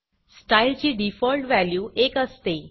style ची default value 1 असते